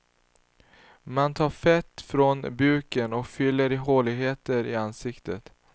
Man tar fett från buken och fyller i håligheter i ansiktet.